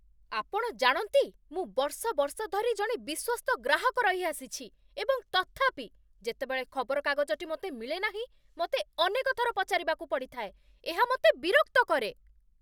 ଆପଣ ଜାଣନ୍ତି, ମୁଁ ବର୍ଷ ବର୍ଷ ଧରି ଜଣେ ବିଶ୍ୱସ୍ତ ଗ୍ରାହକ ରହିଆସିଛି, ଏବଂ ତଥାପି ଯେତେବେଳେ ଖବରକାଗଜଟି ମୋତେ ମିଳେନାହିଁ, ମୋତେ ଅନେକ ଥର ପଚାରିବାକୁ ପଡ଼ିଥାଏ । ଏହା ମୋତେ ବିରକ୍ତ କରେ।